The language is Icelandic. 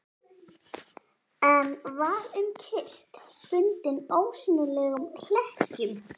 En var um kyrrt, bundinn ósýnilegum hlekkjum.